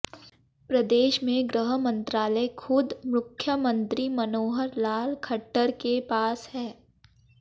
प्रदेश में गृह मंत्रालय खुद मुख्यमंत्री मनोहर लाल खट्टर के पास है